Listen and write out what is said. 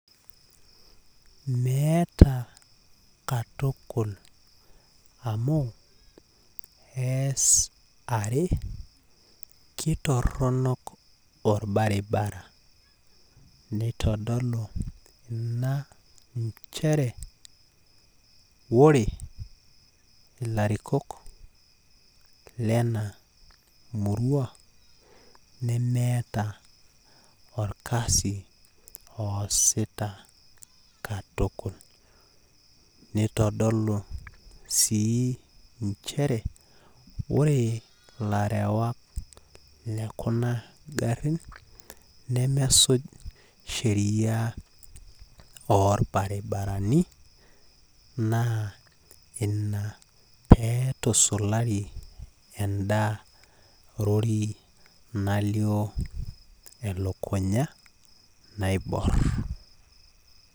Meeta katukul amu ees are amu kitoronok orbaribara neitodolu ina nchere ore ilarikok lena murua nemeeta orkasi oasita katukul . nitodolu sii nchere ore ilarewak lekuna garin nemesuj sheriaa orbaribarani naa ina petusulari enda lori nalioo e.lukunya naibor